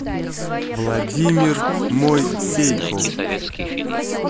владимир мойсейков